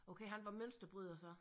Okay han var mønsterbryder så